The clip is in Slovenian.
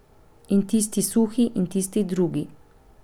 In tisti suhi, in tisti drugi.